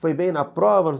Foi bem na prova?